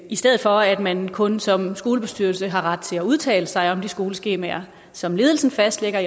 i stedet for at man kun som skolebestyrelse har ret til at udtale sig om de skoleskemaer som ledelsen fastlægger